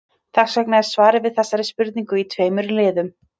Þess vegna er svarið við þessari spurningu í tveimur liðum.